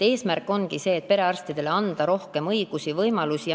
Eesmärk ongi anda perearstidele rohkem õigusi ja võimalusi.